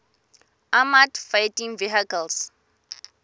armoured fighting vehicles